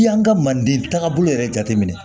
I y'an ka mande taagabolo yɛrɛ jate minɛ